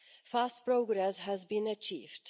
Fast progress has been achieved.